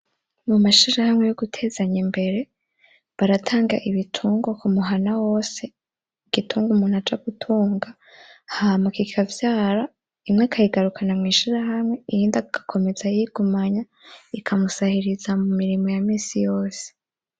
Mu mashirahamwe yogutezanya imbere baratanga ibitungwa kumuhana wose igitungwa umuntu aja gutunga hama kikavyara inka akayigarukana mw'ishirahamwe iy’indi agakomeza ayigumanye ikamusahiriza mumirimo yamisi yose.